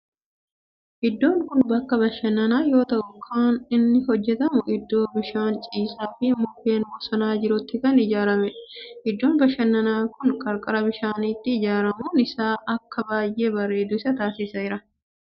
Iddoon kun bakka bashannanaa yoo ta'u kan inni hojjetame iddoo bishaan ciisaa fi mukkeen bosonaa jirutti kan ijaaramedha. Iddoon bashannanaa kun qarqara bishaanitti ijaaramun isaa akka baayyee bareedu isa taasiseera.